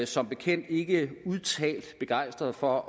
som bekendt ikke udtalt begejstret for